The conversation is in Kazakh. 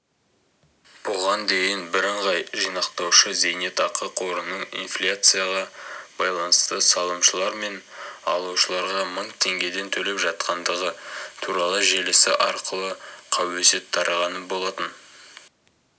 бұған дейін бірыңғай жинақтаушы зейнетақы қорының инфляцияға байланысты салымшылар мен алушыларға мың теңгеден төлеп жатқандығы туралы желісі арқылы қауесет тараған болатын